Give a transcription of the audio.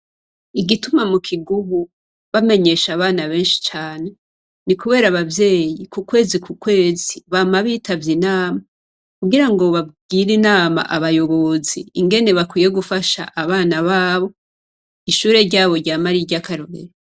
Igituma mu Kigubu bamenyesha abana benshi cane, ni kuber' abavyeyi ku kwezi ku kwezi bama bitavye Inama kugira ngo bagire inama abayobozi ingene bakwiye gufasha abana babo ,ishure ryabo ryame ariry'akarorero.